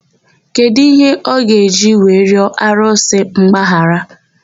Kedụ íhé ọ ga-eji wee rịọ arụsị mgbaghara?